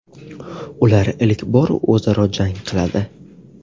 Ular ilk bor o‘zaro jang qiladi.